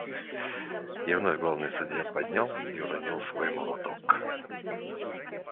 и вновь главный судья поднял и уронил свой молоток